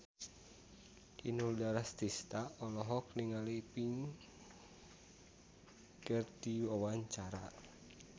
Inul Daratista olohok ningali Pink keur diwawancara